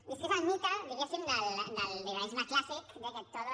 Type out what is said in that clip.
i és que és el mite diguéssim del liberalisme clàssic de que todo